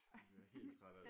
Man bliver helt træt af det